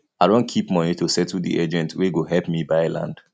i don keep moni to settle di agent wey go help me buy land